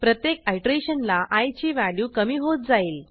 प्रत्येक आयटरेशनला आय ची व्हॅल्यू कमी होत जाईल